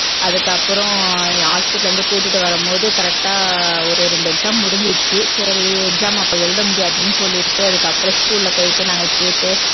அதுக்கு அப்புறம் hospital ல இருந்து கூட்டிட்டு வரும்போது correct ஆ ஒரு ரெண்டு exam முடிஞ்சிடுச்சு சரி exam அப்ப எழுத முடியாதுன்னு சொல்லிட்டு அதுக்கு அப்புறம் school ல போயிட்டு நாங்க கேட்டு